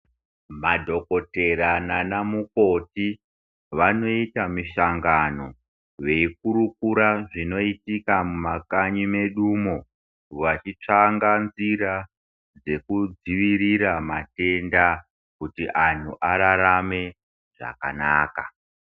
Ma dhokotera nana mukoti vanoita misangano veyi kurukura zvinoitika muma kanyi medu mo vachi tsvanga nzira dzeku dzivirira matenda kuti antu ararame zvakanaka.